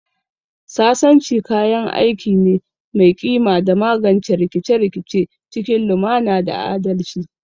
Sasanci kayan aiki ne mai kima don magance rikice-rikice cikin lumana da adalci